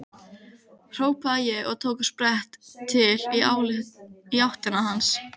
hrópaði ég og tók á sprett í áttina til hans.